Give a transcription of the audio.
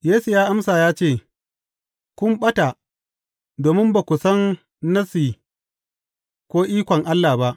Yesu ya amsa ya ce, Kun ɓata, domin ba ku san Nassi ko ikon Allah ba.